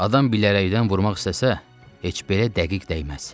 Adam bilərəkdən vurmaq istəsə, heç belə dəqiq dəyməz.